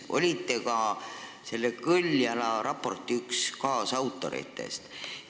Te olite ka selle Kõljala raporti üks kaasautoritest.